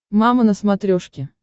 мама на смотрешке